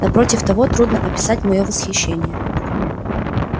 напротив того трудно описать моё восхищение